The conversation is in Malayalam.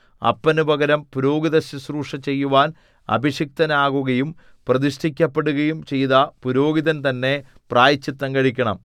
അപ്പനു പകരം പുരോഹിതശുശ്രൂഷ ചെയ്യുവാൻ അഭിഷിക്തനാകുകയും പ്രതിഷ്ഠിക്കപ്പെടുകയും ചെയ്ത പുരോഹിതൻതന്നെ പ്രായശ്ചിത്തം കഴിക്കണം